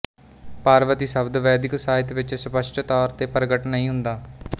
ਪਾਰਵਤੀ ਸ਼ਬਦ ਵੈਦਿਕ ਸਾਹਿਤ ਵਿਚ ਸਪੱਸ਼ਟ ਤੌਰ ਤੇ ਪ੍ਰਗਟ ਨਹੀਂ ਹੁੰਦਾ